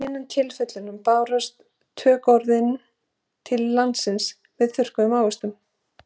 Í hinum tilvikunum bárust tökuorðin til landsins með þurrkuðu ávöxtunum.